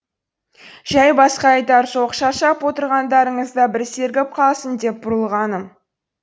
жәй басқа айтар жоқ шаршап отырғандарыңызда бір сергіп қалсын деп бұрылғаным